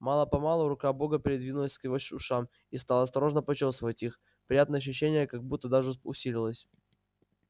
мало помалу рука бога передвинулась к его ушам и стала осторожно почёсывать их приятное ощущение как будто даже усилилось